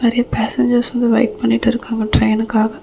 நிறைய பேசஞ்சர்ஸ் வந்து வெயிட் பண்ணிட்டு இருக்காங்க ட்ரெயினுக்காக .